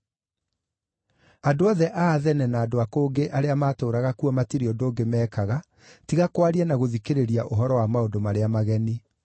(Andũ othe a Athene na andũ a kũngĩ arĩa maatũũraga kuo matirĩ ũndũ ũngĩ meekaga tiga kwaria na gũthikĩrĩria ũhoro wa maũndũ marĩa mageni).